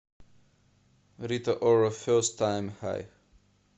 рита ора фест тайм хай